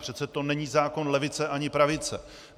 Přece to není zákon levice ani pravice.